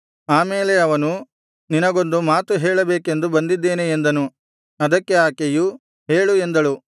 ಆಮೇಲೆ ಅವನು ನಿನಗೊಂದು ಮಾತು ಹೇಳಬೇಕೆಂದು ಬಂದಿದ್ದೇನೆ ಎಂದನು ಅದಕ್ಕೆ ಆಕೆಯು ಹೇಳು ಎಂದಳು